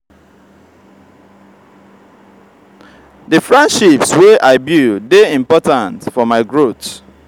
di friendships wey i build dey important for my growth.